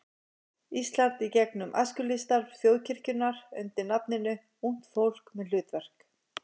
Íslands í gegnum æskulýðsstarf þjóðkirkjunnar undir nafninu Ungt fólk með hlutverk.